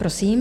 Prosím.